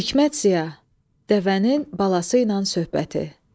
Hikmət siya, dəvənin balası ilə söhbəti.